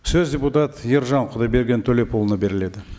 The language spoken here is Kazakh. сөз депутат ержан құдайберген төлепұлына беріледі